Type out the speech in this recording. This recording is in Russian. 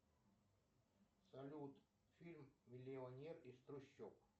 салют фильм миллионер из трущоб